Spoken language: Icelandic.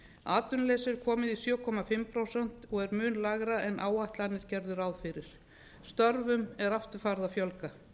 atvinnuleysi er komið í sjö og hálft prósent og er mun lægra en áætlanir gerðu ráð fyrir störfum er aftur farið að fjölga